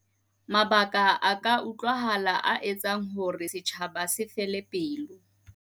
Mabaka a a utlwahala a etsang hore setjhaba se fele pelo.